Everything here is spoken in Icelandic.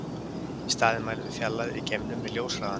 Í staðinn mælum við fjarlægðir í geimnum með ljóshraðanum.